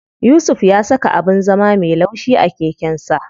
Yusuf ya saka abin zama me laushi a keken sa.